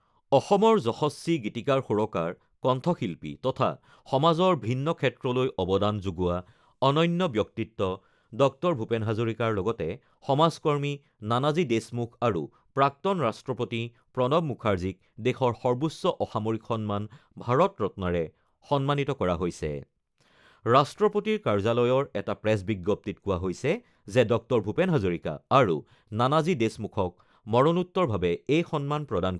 অসমৰ যশস্বী গীতিকাৰ-সুৰকাৰ, কণ্ঠশিল্পী তথা সমাজৰ ভিন্ন ক্ষেত্ৰলৈ অৱদান যোগোৱা অনন্য ব্যক্তিত্ব ডঃ ভূপেন হাজৰিকাৰ লগতে সমাজকৰ্মী নানাজী দেশমুখ আৰু প্ৰাক্তন ৰাষ্ট্ৰপতি প্ৰণৱ মুখাৰ্জীক দেশৰ সৰ্বোচ্চ অসামৰিক সন্মান ভাৰত ৰত্নৰে সন্মানিত কৰা হৈছে। ৰাষ্ট্ৰপতিৰ কাৰ্যালয়ৰ এটা প্ৰেছ বিজ্ঞপ্তিত কোৱা হৈছে যে, ডঃ ভূপেন হাজৰিকা আৰু নানাজী দেশমুখক মৰণোত্তৰভাৱে এই সন্মান প্ৰদান